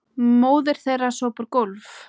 Móðir þeirra sópar gólf